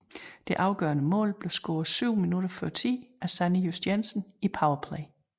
Det aførende mål blev scoret 7 minutter før tid af Sanne Just Jensen i power play